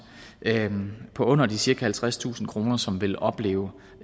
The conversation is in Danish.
på under de cirka halvtredstusind kr som vil opleve